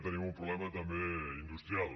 tenim un problema també industrial